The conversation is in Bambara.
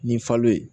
Ni falo ye